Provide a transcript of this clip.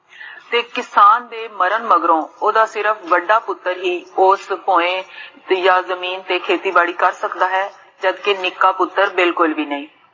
ਤੇ ਕਿਸਾਨ ਦੇ ਮਰਨ ਮਗਰੋਂ, ਓਦਾ ਸਿਰਫ ਵੱਡਾ ਪੁਤਰ ਹੀ, ਉਸ ਯਾ ਜਮੀਨ ਤੇ ਖੇਤੀ ਬਾੜੀ ਕਰ ਸਕਦਾ ਹੈ, ਜਬਕਿ ਨਿੱਕਾ ਪੁਤਰ ਬਿਲਕੁਲ ਭੀ ਨਹੀ